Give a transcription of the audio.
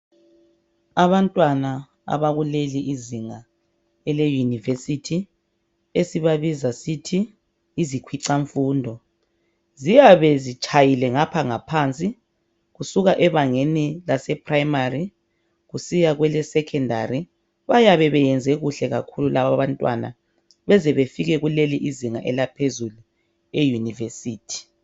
Abantwana abakuleli izinga eleuniversithi esibabiza sithi yizikwicamfundo ziyabe zitshayile ngapha ngaphansi kusuka ebangeni laseprimary kusiya kwelesecondary bayabebeyenze kuhle kakhulu labo abantwana beze befike kuleli izinga elaphezulu euniversithi